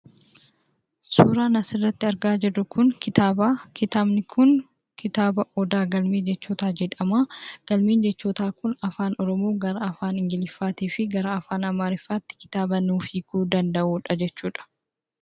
Suuraan asirratti argaa jirru kun kitaaba. Kitaabni kun kitaaba "Odaa Galmee Jechootaa" jedhama. Galmeen jechootaa kun Afaan Oromoo gara Afaan Ingiliiziittifi Afaan Amaaraatti kan hiikuuu danda'udha jechudha.